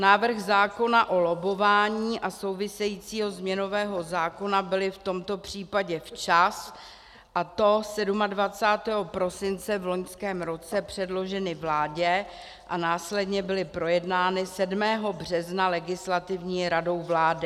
Návrh zákona o lobbování a souvisejícího změnového zákona byly v tomto případě včas, a to 27. prosince v loňském roce, předloženy vládě a následně byly projednány 7. března Legislativní radou vlády.